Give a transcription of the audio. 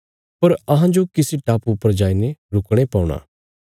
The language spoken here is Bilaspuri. पर अहांजो किसी टापुये पर जाईने रुकणे पौणा